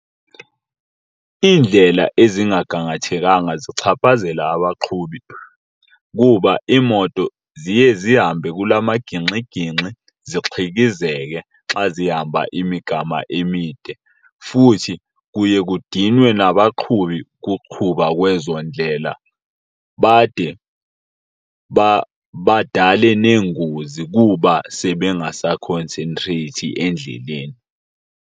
Iindlela ezingagangathekanga zichaphazela abaqhubi kuba iimoto ziye zihambe kula magingxigingxi zixhikizeke xa zihamba imigama emide. Futhi kuye kudinwe nabaqhubi kukuqhuba kwezo ndlela bade badale neengozi kuba sebengasakhonsentreyithi endleleni.